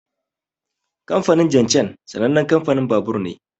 Kamfanin Jincheng sanannen kamfanin babur ne.